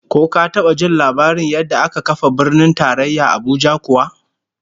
Ko ka taba jin labarin yadda aka kafa Birnin Tarayya Abuja kuwa?